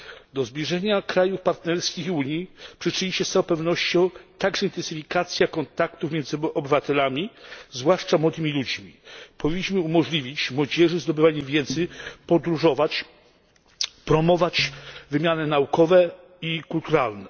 Do zbliżenia krajów partnerskich i Unii przyczyni się z całą pewnością także intensyfikacja kontaktów między obywatelami, zwłaszcza ludźmi młodymi. Powinniśmy umożliwić młodzieży zdobywanie wiedzy, podróżowanie, powinniśmy promować wymiany naukowe i kulturalne.